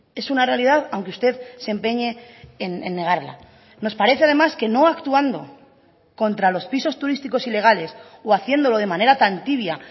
es una realidad aunque usted se empeñe en negarla nos parece además que no actuando contra los pisos turísticos ilegales o haciéndolo de manera tan tibia